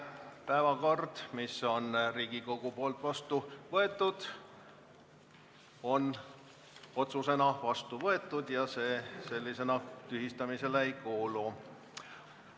Päevakord, mille Riigikogu on vastu võtnud, on otsusena vastu võetud ja sellisena see tühistamisele ei kuulu.